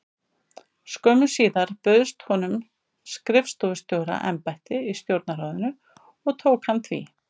Skömmu síðar bauðst honum skrifstofustjóra- embætti í Stjórnarráðinu og tók hann því.